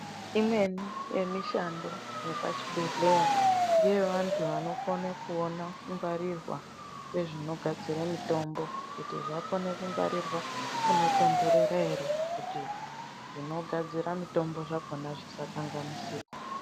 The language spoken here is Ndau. Imweni yemishando yepa chibhedhlera ngeye vantu vandokona kuona kungwarirwa kwezvinogadzire mitombo kuti zvakone kugwarirwa munotondorera ere kuti zvinogadzira mitomba zvakona zvisakanganisika.